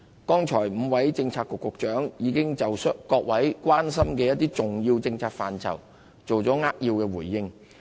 剛才5位政策局局長已經就各位關心的一些重要政策範疇作出扼要回應。